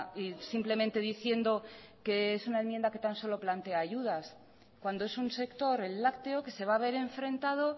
y simplemente diciendo que es una enmienda que tan solo plantea ayudas cuando es un sector el lácteo que se va a ver enfrentado